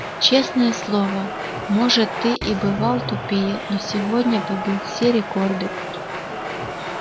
честное слово может ты и бывал тупее но сегодня побил все рекорды